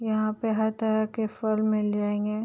यहाँ पे हर तरह के फल मिल जाएँगे --